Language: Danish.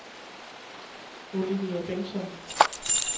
Olivia Bengtson